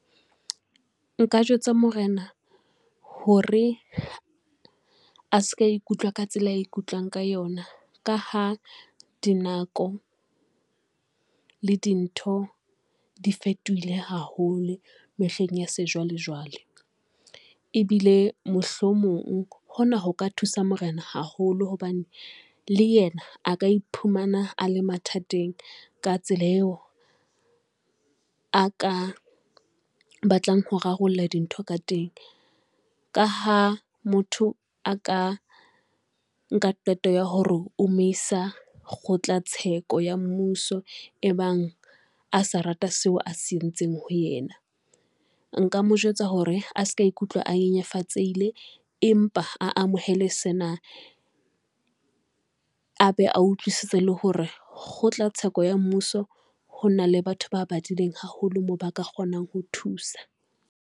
Nka jwetsa morena hore a se ka ikutlwa ka tsela ikutlwang ka yona, ka ha di nako le dintho di fetohile haholo mehleng ya sejwalejwale ebile mohlomong hona ho ka thusa morena haholo, hobane le yena a ka iphumana a le mathateng ka tsela eo a ka batlang ho rarolla dintho ka teng. Ka ha motho a ka nka qeto ya hore o mo isa kgotla tsheko ya mmuso e bang a sa rata seo a se entseng ho ena, nka mo jwetsa hore a se ka ikutlwa a nyenyefatseile, empa a amohele sena, a be a utlwisise le hore kgotla theko ya mmuso ho na le batho ba badileng haholo moo ba ka kgonang ho thusa.